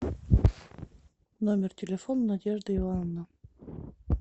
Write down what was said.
номер телефона надежда ивановна